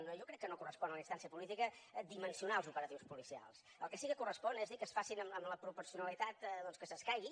jo crec que no correspon a la instància política dimensionar els operatius policials el que sí que correspon és dir que es facin amb la proporcionalitat que s’escaigui